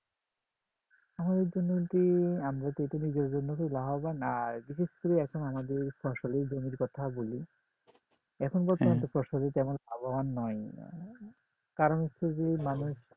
আমাদের জন্য যে আমরা প্রথমে যেই জন্য হচ্ছে লাভবান আর বিশেষ করে এখন আমাদের ফসলের জমির কথা বলি এখন বর্তমানে ফসলে তেমন লাভবান নয় কারণ হচ্ছে যে মানুষ